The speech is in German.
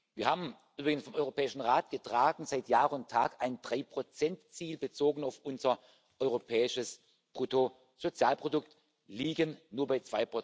Wir haben, übrigens vom Europäischen Rat getragen, seit Jahr und Tag ein 3 Ziel, bezogen auf unser europäisches Bruttosozialprodukt, liegen aber nur